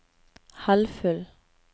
halvfull